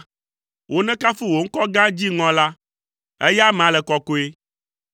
Wonekafu wò ŋkɔ gã, dziŋɔ la, eya amea le kɔkɔe.